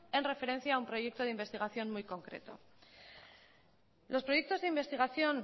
en referencia a un proyecto de investigación muy concreto los proyectos de investigación